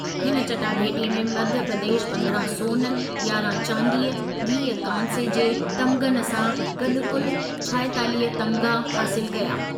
हिन चटाभेटीअ में मध्यप्रदेश पंद्रहं सोन, यारहं चांदीअ वीह कांसे जे तमिग़नि सां गॾु कुलु छाएतालीह तमिग़ा हासिलु कया।